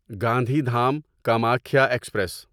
Gandhidham Kamakhya express